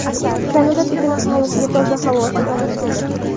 Kanada Pekin aholisiga toza havo sota boshladi.